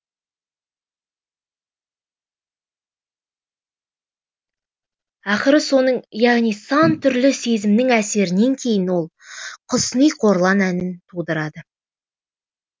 ақыры соның яғни сан түрлі сезімнің әсерінен кейін ол құсни қорлан әнін тудырады